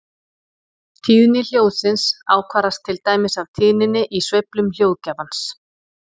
Tíðni hljóðsins ákvarðast til dæmis af tíðninni í sveiflum hljóðgjafans.